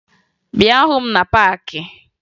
Bịa hụ m na paakị!